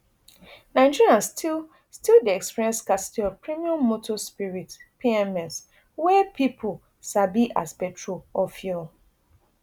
nigerians still still dey experience scarcity of premium motor spirit pms wey pipo sabi as petrol or fuel